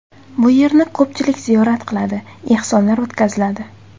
Bu yerni ko‘pchilik ziyorat qiladi, ehsonlar o‘tkaziladi.